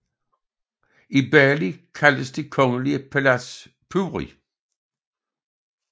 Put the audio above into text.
I Bali kaldes det kongelige palads puri